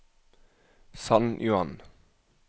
San Juan